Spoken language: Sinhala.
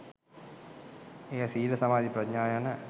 එය සීල, සමාධී, ප්‍රඥා යන